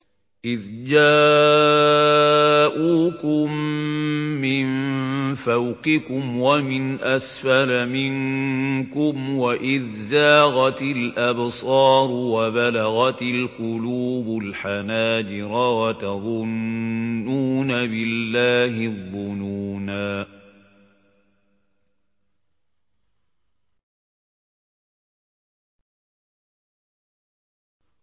إِذْ جَاءُوكُم مِّن فَوْقِكُمْ وَمِنْ أَسْفَلَ مِنكُمْ وَإِذْ زَاغَتِ الْأَبْصَارُ وَبَلَغَتِ الْقُلُوبُ الْحَنَاجِرَ وَتَظُنُّونَ بِاللَّهِ الظُّنُونَا